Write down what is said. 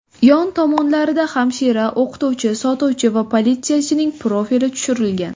Yon tomonlarida hamshira, o‘qituvchi, sotuvchi va politsiyachining profili tushirilgan.